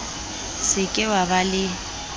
se ke wa ba le